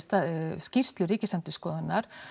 skýrslu ríkisendurskoðunnar